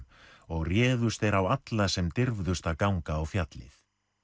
og réðust þeir á alla sem dirfðust að ganga á fjallið